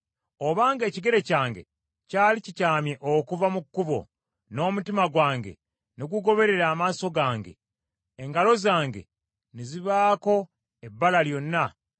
Obanga ekigere kyange kyali kikyamye okuva mu kkubo, n’omutima gwange ne gugoberera amaaso gange, engalo zange ne zibaako ebbala lyonna;